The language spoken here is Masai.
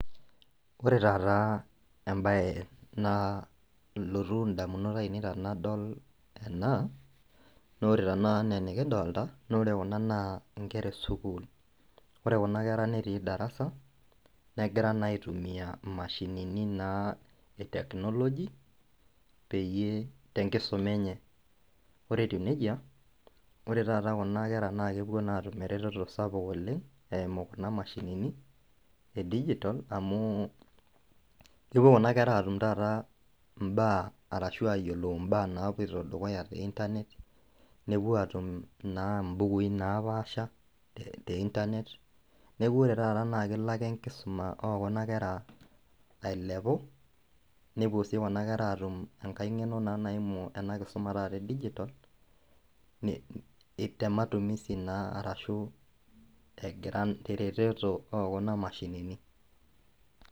Ore taata embaye naalotu indamunot ainei tanadol ena nore tanakata anaa enikidolta nore kuna naa inkera e sukuul ore kuna kera netii darasa negira naa aitumiyia imashinini naa e technology peyie tenkisuma enye ore etiu nejia ore taata kuna kera naa kepuo naa atum eretoto sapuk oleng' eimu kuna mashinini e digitalcs] amu kepuo kuna kera atum taata imbaa arashu ayiolou imbaa napuoito dukuya te internet nepuo atum naa imbukui napaasha e internet neku ore taata naa kelo ake enkisuma okuna kera ailepu nepuo sii kuna kera atum enkae ng'eno naa naimu ena kisuma taata e digital nei te matumisi naa arashu egira teretoto okuna mashinini .